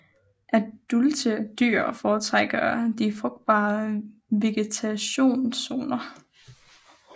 Adulte dyr foretrækker de frugtbare vegetationszoner